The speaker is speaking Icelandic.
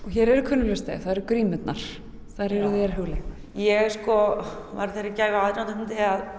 hér eru kunnugleg stef það eru grímurnar þær eru þér hugleiknar ég var þeirrar gæfu aðnjótandi